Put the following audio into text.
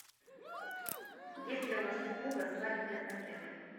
есть ли у вас услуга свадебный пакет